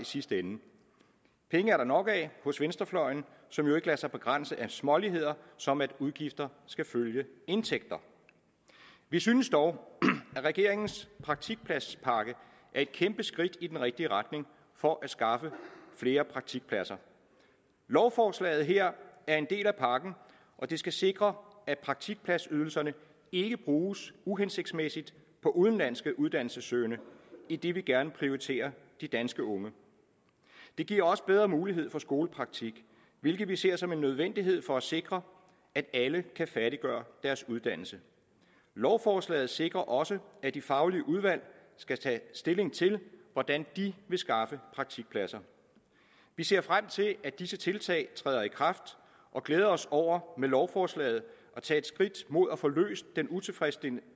sidste ende penge er der nok af hos venstrefløjen som jo ikke lader sig begrænse af småtterier som at udgifter skal følge indtægter vi synes dog at regeringens praktikpladspakke er et kæmpe skridt i den rigtige retning for at skaffe flere praktikpladser lovforslaget her er en del af pakken og det skal sikre at praktikpladsydelserne ikke bruges uhensigtsmæssigt på udenlandske uddannelsessøgende idet vi gerne vil prioritere de danske unge det giver også bedre mulighed for skolepraktik hvilket vi ser som en nødvendighed for at sikre at alle kan færdiggøre deres uddannelse lovforslaget sikrer også at de faglige udvalg skal tage stilling til hvordan de vil skaffe praktikpladser vi ser frem til at disse tiltag træder i kraft og glæder os over med lovforslaget at tage et skridt mod at få løst den utilfredsstillende